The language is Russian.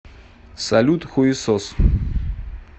салют хуесос